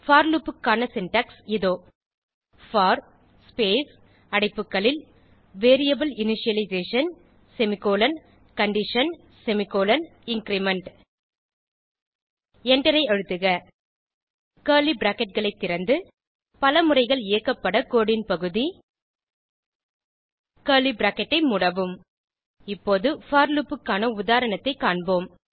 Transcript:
போர் loop க்கான syntax இதோ for space அடைப்புக்களில் variable initialization semicolon condition semicolon increment Enter ஐ அழுத்துக கர்லி பிராக்கெட் ஐ திறந்து பல முறைகள் இயக்கப்பட கோடு ன் பகுதி கர்லி பிராக்கெட் ஐ மூடவும் இப்போது போர் லூப் க்கான உதாரணத்தைக் காண்போம்